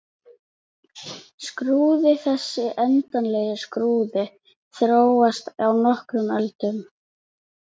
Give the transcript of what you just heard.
Skrúðinn Þessi endanlegi skrúði þróaðist á nokkrum öldum.